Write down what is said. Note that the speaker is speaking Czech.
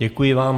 Děkuji vám.